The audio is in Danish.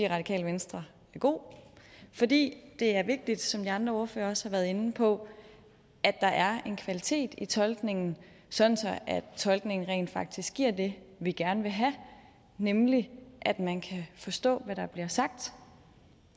radikale venstre er god fordi det er vigtigt som de andre ordførere også har været inde på at der er en kvalitet i tolkningen sådan at tolkningen rent faktisk giver det vi gerne vil have nemlig at man kan forstå hvad der bliver sagt